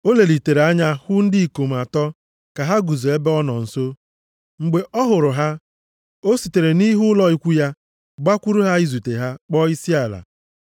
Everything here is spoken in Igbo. O lelitere anya ya hụ ndị ikom atọ ka ha guzo ebe ọ nọ nso. Mgbe ọ hụrụ ha, o sitere nʼihu ụlọ ikwu ya gbakwuru ha izute ha, kpọọ isiala.